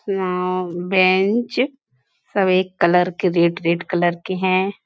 यहाँ बेंच सब एक कलर के रेड रेड कलर के है।